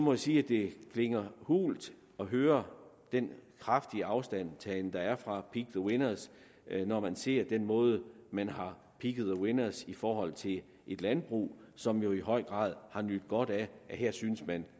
jeg sige at det klinger hult at høre den kraftige afstandtagen der er fra pick the winners når man ser den måde man har picked the winners på i forhold til et landbrug som jo i høj grad har nydt godt af at her syntes man